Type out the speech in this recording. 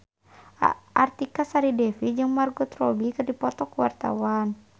Artika Sari Devi jeung Margot Robbie keur dipoto ku wartawan